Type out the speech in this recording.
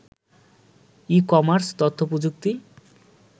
e-commerce, তথ্যপ্রযুক্তি